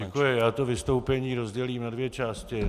Děkuji, já to vystoupení rozdělím na dvě části.